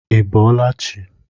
I bọọla chi!